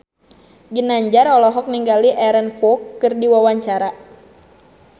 Ginanjar olohok ningali Aaron Kwok keur diwawancara